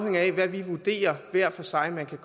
kan vurdere